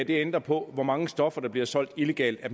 ændrer på hvor mange stoffer der bliver solgt illegalt